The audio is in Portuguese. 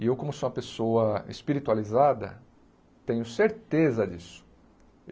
E eu, como sou uma pessoa espiritualizada, tenho certeza disso.